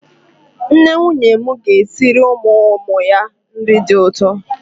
Nne nwunye m ga-esiri ụmụ ụmụ ya nri dị ụtọ.